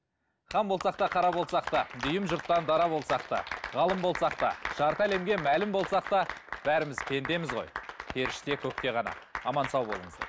хан болсақ та қара болсақ та дүйім жұрттан дара болсақ та ғалым болсақ та жарты әлемге мәлім болсақ та бәріміз пендеміз ғой періште көкте ғана аман сау болыңыздар